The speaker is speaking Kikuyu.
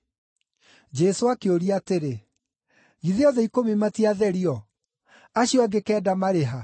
Jesũ akĩũria atĩrĩ, “Githĩ othe ikũmi matiatherio? Acio angĩ kenda marĩ ha?